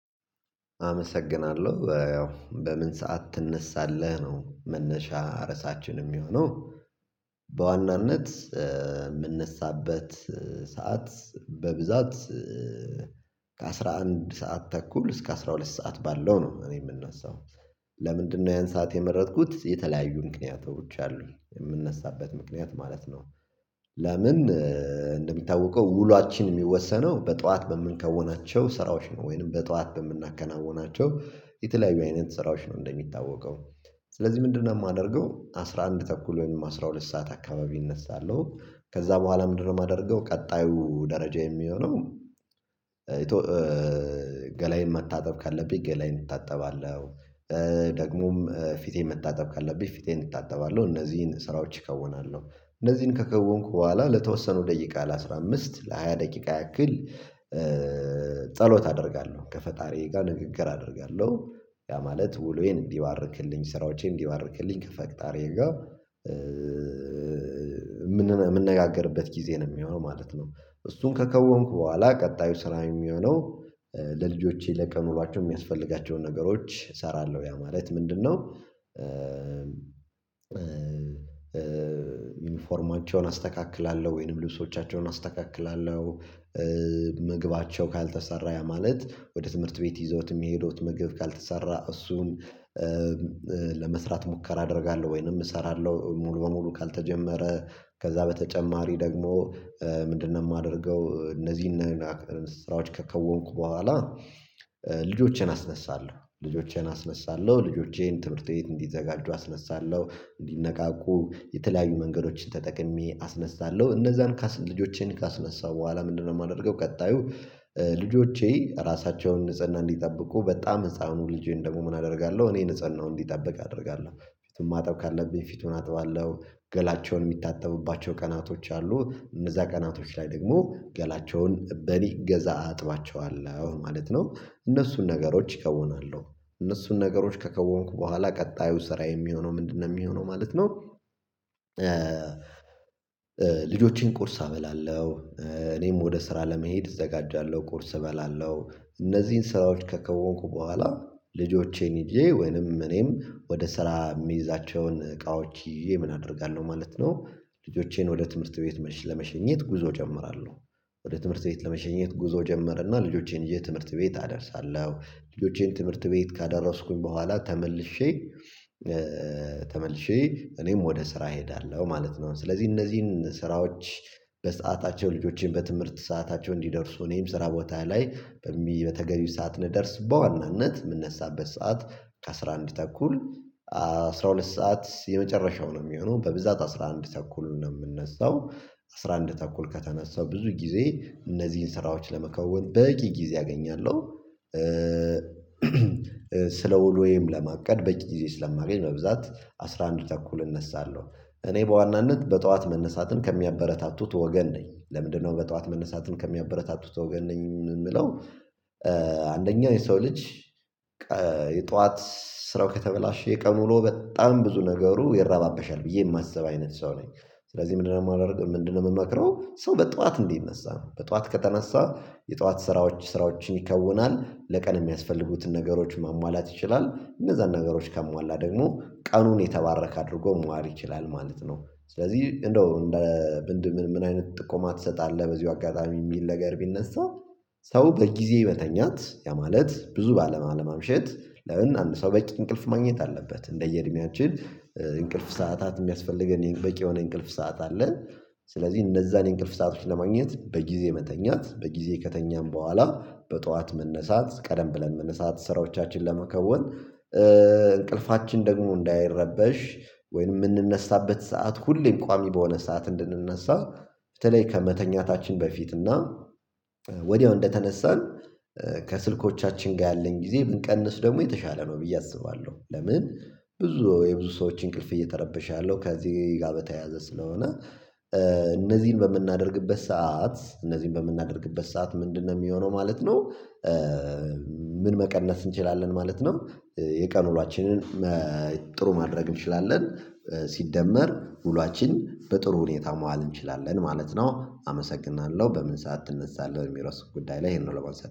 አመሰግናለሁ ያው በምን ሰዓት ትነሳለህ ነው መነሻ ርዕሳችን የሚሆነው። በዋናነት የምነሳበት ሰዓት በብዛት ከአሥራ አንድ ሰዓት ተኩል እስከ አስራ ሁለት ሰዓት ባለው ነው። እኔ የምነሳው። ለምንድነው ያን ሳዓት የመረጥኩት? የተለያዩ ምክንያቶች አሉ የምነሳበት ምክንያት ማለት ነው። ለምን እንደሚታወቀው ውሏችን የሚወሰነው በጧት በምንከውናቸው ስራዎች ነው። ወይንም በጧት በምናከናውናቸው የተለያዩ አይነት ስራዎች ነው። እንደሚታወቀው ስለዚህ ምንድነው የማደርገው? አስራ አንድ ተኩል ወይም አስራ ሁለት ሰዓት አካባቢ እነሳለሁ። ከዛ በኋላ ምንድነው የማደርገው ቀጣዩ ደረጃ የሚሆነው? ገላየን መታጠብ ካለብኝ ገላየን እታጠባለሁ። ደግሞም ፊቴን መታጠብ ካለብኝ ፊቴን እታጠባለሁ እነዚህን ስራዎች እከውናለሁ። እነዚህን ከከወንኩ በኋላ ለተወሰነው ደቂቃ ለአሥራ አምስት ለሃያ ደቂቃ ያክል ጸሎት አደርጋለሁ ከፈጣሪ ጋር ንግግር አደርጋለሁ። ያ ማለት ውሎዬን እንዲባርክልኝ ስራዎቼን እንዲባርክልኝ ከፈጣሪየ ጋር የምነጋገርበት ጊዜ ነው የሚሆነው ማለት ነው። እሱን ከከወንኩ በኋላ ቀጣዩ ስራ የሚሆነው። ለልጆቼ ለቀን ውሏቸው የሚያስፈልጋቸውን ነገሮች እሰራለሁ ያ ማለት ምንድነው? ዩኒፎርማቸውን አስተካክላለሁ ወይንም ልብሶቻቸውን አስተካክላለሁ። ምግባቸው ካልተሰራ ያ ማለት ወደ ትምህርት ቤት ይዘውት የሚሄደውት ምግብ ካልተሰራ እሱን። ለመስራት ሙከራ አደርጋለሁ ወይንም እሰራለሁ ሙሉ በሙሉ ካልተጀመረ። ከዛ በተጨማሪ ደግሞ ምንድነው የማደርገው? እነዚህን ስራዎች ከከወንኩ በኋላ አስነሳለሁ ልጆቼን አስነሳለሁ ልጆቼን ትምህርት ቤት እንዲዘጋጁ አስነሳለሁ። እንዲነቃቁ የተለያዩ መንገዶችን ተጠቅሜ አስነሳለሁ እነዛን ልጆቼን ካስነሳሁ በኋላ ምንድነው የማደርገው? ቀጣዩ ልጆቼ ራሳቸውን ንጽህና እንዲጠብቁ በጣም ህፃኑ ልጄን ደግሞ ምን አደርጋለሁ እኔ ንጽህናው እንዲጠብቅ አደርጋለሁ ፊቱን ማጠብ ካለብኝ ፊቱን አጥባለሁ። ገላቸውን የሚታጠቡባቸው ቀናቶች አሉ። እነዛ ቀናቶች ላይ ደግሞ ገላቸውን በእኔ እገዛ አጥባቸዋለሁ ማለት ነው። እነሱን ነገሮች እከውናለሁ። እነሱን ነገሮች ከከወንኩ በኋላ ቀጣዩ ስራየ የሚሆነው ምንድነው የሚሆነው ማለት ነው። ልጆቼን ቁርስ አበላለሁ። እኔም ወደ ስራ ለመሄድ እዘጋጃለሁ ቁርስ እበላለሁ። እነዚህን ስራዎች ከከወንኩ በኋላ ልጆቼን ይዤ ወይንም እኔም ወደ ስራ የሚይዛቸውን እቃዎች ይዤ ምን አደርጋለሁ ማለት ነው። ልጆቼን ወደ ትምህርት ቤት ለመሸኘት ጉዞ እጀምራለሁ። ትምህርት ቤት ለመሸኘት ጉዞ እጀመርና ልጆቼን ትምህርት ቤት አደርሳለሁ። ልጆቼን ትምህርት ቤት ካደረስኩኝ በኋላ። ተመልሼ እኔም ወደ ስራ እሄዳለሁ ማለት ነው። ስለዚህ እነዚህን ስራዎች በሰአታቸው ልጆችን በትምህርት ሰአታቸው እንዲደርሱ እኔም ስራ ቦታ ላይ በተገቢው ሰዓት እንድደርስ በዋናነት የምንነሳበት ሰዓት ከአሥራ አንድ ተኩል አስራ ሁለት ሰዓት የመጨረሻው ነው የሚሆነው። በብዛት አስራ አንድ ተኩል ነው የምነሳው። አስራ አንድ ተኩል ከተነሳው ብዙ ጊዜ እነዚህን ስራዎች ለመከወን በቂ ጊዜ አገኛለሁ። ስለ ውሎየም ለማቀድ በቂ ጊዜ ስለማገኝ በብዛት አስራ አንድ ተኩል እነሳለሁ። እኔ በዋናነት በጠዋት መነሳትን ከሚያበረታቱት ወገን ነኝ ለምንድነው በጧት መነሳትን ከሚያበረታቱት ወገን ነኝ የምለው? የሰው ልጅ የጧት ስራው ከተበላሸ የቀን ውሎው በጣም ብዙ ነገሩ ይረባበሻል ብዬ የማሰብ አይነት ሰው ነኝ። ስለዚህ ምንድነው የማደርገው ምንድነው የምመክረው? ሰው በጧት እንዲነሳ ነው በጠዋት ከተነሳ የጠዋት ስራዎች ስራዎችን ይከውናል። ለቀን የሚያስፈልጉትን ነገሮች ማሟላት ይችላል። እነዛን ነገሮች ካሟላ ደግሞ ቀኑን የተባረክ አድርጎ መዋል ይችላል ማለት ነው። ስለዚህ እንደው እንደ ምን አይነት ጥቆማ ትሰጣለህ በዚሁ አጋጣሚ የሚል ነገር ቢነሳ? ሰው በጊዜ መተኛት ያ ማለት ብዙ ባለማምሸት ለምን አንድ ሰው በቂ እንቅልፍ ማግኘት አለበት። እንደየእድሜያችን ሰዓታት የሚያስፈልገን የበቂ የሆነ እንቅልፍ ሰዓት አለን። ስለዚህ እነዛን የእንቅልፍ ሳዓቶች ለማግኘት በጊዜ መተኛት በጊዜ ከተኛን በኋላ በጧት መነሳት ቀደም ብለን መነሳት ስራዎቻችንን ለመከወን እንቅልፋችን ደግሞ እንዳይረበሽ። ወይንም የምንነሳበት ሰዓት ሁሌም ቋሚ በሆነ ሰዓት እንድንነሳ። በተለይ ከመተኛታችን በፊት እና ወዲያው እንደተነሳን ከስልኮቻችን ጋር ያለን ጊዜ ብንቀንስ ደግሞ የተሻለ ነው ብዬ አስባለሁ። ለምን? ብዙ የብዙ ሰዎች እንቅልፍ እየተረበሸ ያለው ከዚህ ጋር በተያያዘ ስለሆነ። እነዚህን በምናደርግበት ሰዓት እነዚህን በምናደርግበት ሰዓት ምንድነው የሚሆነው ማለት ነው። ምን መቀነስ እንችላለን ማለት ነው። የቀን ውላችንን ጥሩ ማድረግ እንችላለን። ሲደመር ውሏችን በጥሩ ሁኔታ መዋል እንችላለን ማለት ነው። አመሰግናለሁ በምን ሰዓት ትነሳለህ በሚለው ርዕስ ጉዳይ ላይ ይሄ ነው ለማንሳት